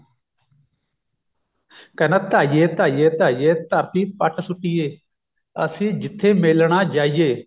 ਕਹਿੰਦਾ ਧਾਈਏ ਧਾਈਏ ਧਾਈਏ ਧਰਤੀ ਪੱਟ ਸੁੱਟੀਏ ਅਸੀਂ ਜਿੱਥੇ ਮੇਲਣਾ ਜਾਈਏ